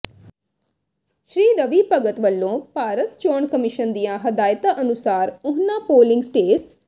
ਸ੍ਰੀ ਰਵੀ ਭਗਤ ਵੱਲੋਂ ਭਾਰਤ ਚੋਣ ਕਮਿਸਨ ਦੀਆਂ ਹਦਾਇਤਾਂ ਅਨੁਸਾਰ ਉਹਨਾਂ ਪੋਲਿੰਗ ਸਟੇਸ